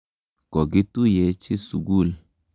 Koki tuyechi sukul.